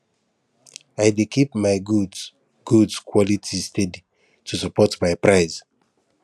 i dey keep my goods goods quality steady to support my price